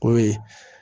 O ye